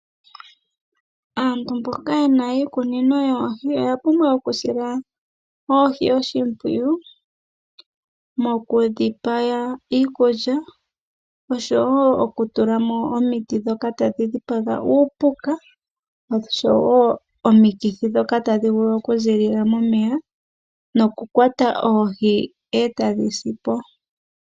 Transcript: Aantu mboka yena iikunino yoohi oya pumbwa okusila ohi oshimpwiyu, mokudhi pa iikulya oshowo okutula mo omiti dhoka tadhi dhipaga uupuka, oshowo omikithi dhoka tadhi tadhi vulu okuzilila momeya nokukwata oohi etadhi si.